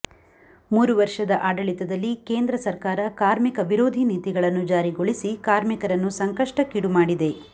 ಮೂರು ವರ್ಷದ ಆಡಳಿತದಲ್ಲಿ ಕೇಂದ್ರ ಸರ್ಕಾರ ಕಾರ್ಮಿಕ ವಿರೋಧಿ ನೀತಿಗಳನ್ನು ಜಾರಿಗೊಳಿಸಿ ಕಾರ್ಮಿಕರನ್ನು ಸಂಕಷ್ಟಕ್ಕೀಡು ಮಾಡಿದೆ